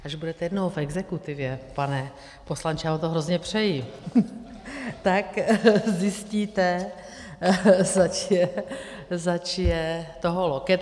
Až budete jednou v exekutivě, pane poslanče - já vám to hrozně přeji - tak zjistíte, zač je toho loket.